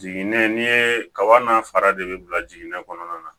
Jiginɛ ni ye kaba n'a fara de bɛ bila jiginnen kɔnɔna na